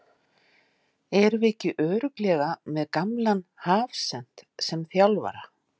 Erum við ekki örugglega með gamlan hafsent sem þjálfara?